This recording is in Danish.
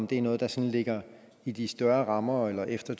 det noget der sådan ligger i de større rammer eller efter